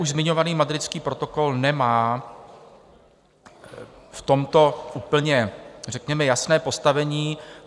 Už zmiňovaný Madridský protokol nemá v tomto úplně řekněme jasné postavení.